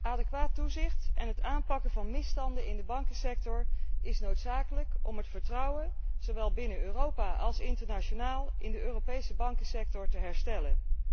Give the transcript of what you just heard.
Adequaat toezicht en het aanpakken van misstanden in de bankensector zijn noodzakelijk om het vertrouwen, zowel binnen Europa als internationaal, in de Europese bankensector te herstellen.